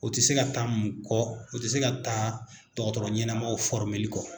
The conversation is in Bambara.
O tɛ se ka taa mun kɔ, o tɛ se ka taa dɔgɔtɔrɔ ɲɛnamaw fɔrmeli kɔ.